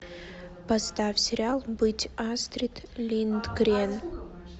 поставь сериал быть астрид линдгрен